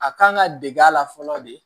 A kan ka dege a la fɔlɔ de